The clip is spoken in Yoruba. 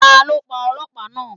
Ta ló pa Ọlọ́pàá náà?